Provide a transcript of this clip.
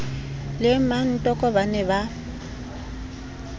le mmatoko ba ne ba